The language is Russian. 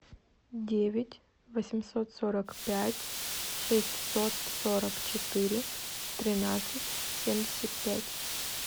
девять восемьсот сорок пять шестьсот сорок четыре тринадцать семьдесят пять